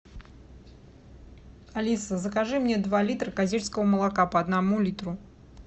алиса закажи мне два литра козельского молока по одному литру